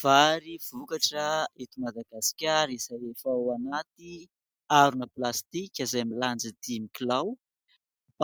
Vary vokatra eto Madagasikara izay efa ao anaty harona plastika izay milanja dimy kilao.